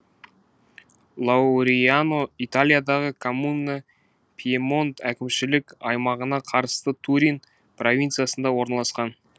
лауриано италиядағы коммуна пьемонт әкімшілік аймағына турин провинциясында орналасқан